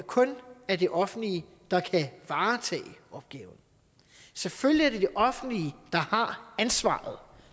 kun er det offentlige der kan varetage opgaven selvfølgelig er det det offentlige der har ansvaret